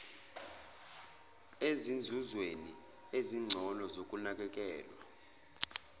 ezinzuzweni ezingcono zokunakekelwa